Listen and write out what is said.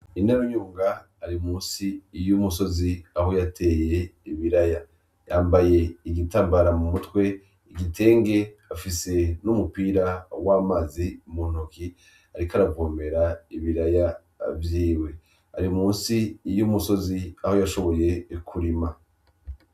Inarayunga ari munsi y'umusozi aho yateye ibiraya, yambaye igitambara mu mutwe, igitenge afise n'umupira w'amazi mu ntoki ariko aravomera ibiraya vyiwe, ari munsi y'umusozi aho yashoboye kurima.